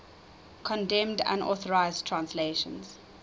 condemned unauthorized translations